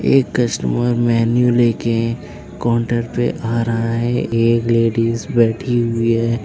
एक customer menu ले के काउंटर पे आ रहा है एक लेडिस बैठी हुई है।